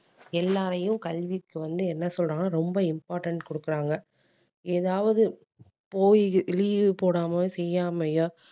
எல்லாரையும் கல்விக்கு வந்து என்ன சொல்றாங்கன்னா ரொம்ப important கொடுக்குறாங்க ஏதாவது போயி leave போடாம செய்யாமயா